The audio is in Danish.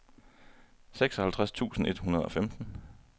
seksoghalvtreds tusind et hundrede og femten